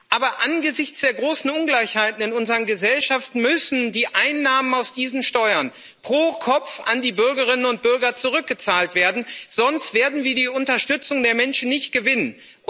Aber angesichts der großen Ungleichheiten in unseren Gesellschaften müssen die Einnahmen aus diesen Steuern pro Kopf an die Bürgerinnen und Bürger zurückgezahlt werden, sonst werden wir die Unterstützung der Menschen nicht gewinnen.